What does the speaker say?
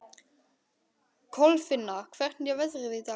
Kolfinna, hvernig er veðrið í dag?